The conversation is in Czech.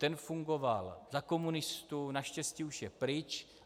Ten fungoval za komunistů, naštěstí už je pryč.